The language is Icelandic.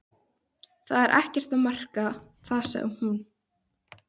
Það er ekkert að marka það sagði hún.